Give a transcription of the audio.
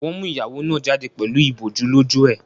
Wọ́n mú ìyàwó náà jáde pẹ̀lú ìbòjú lójú ẹ̀.